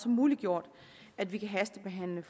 muliggjort at vi kan hastebehandle